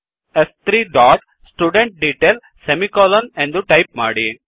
ಸ್3 dot student detail ಎಂದು type ಮಾಡಿ